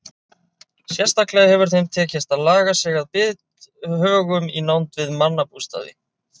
Sérstaklega hefur þeim tekist að laga sig að bithögum í nánd við mannabústaði.